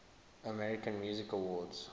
american music awards